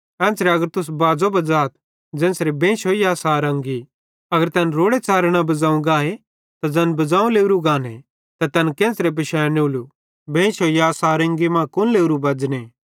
एन्च़रे अगर तुस बाज़ो बज़ाथ ज़ेन्च़रे बेइशोई या सारंगी अगर तैन रोड़े च़ारे न बज़ाव गाए त ज़ैन बज़ाव लावरू गाने त तैन केन्च़रे पिशानेले बेइशोई या सारंगी मां कुन लावरू बज़ने